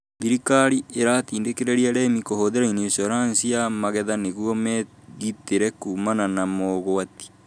Thirikari iratindĩkĩrĩria arĩmi kũhũthĩra inicuoranici ya magetha nĩguo megitĩre kumana na mogwati